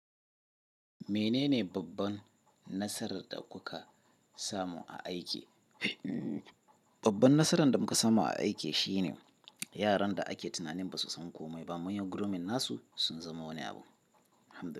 Menene babban nasarar da kuka samu a aiki? Babban nasarar da muka samu a aike shine, yaran da ake tunanin ba su san komai ba. Mun yi grooming nasu sun zama wani abu. Hamda.